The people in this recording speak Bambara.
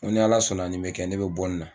N Ko ni ala sɔnna nin be kɛ ne bɔ nin na